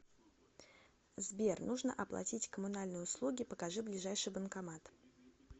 сбер нужно оплатить коммунальные услуги покажи ближайший банкомат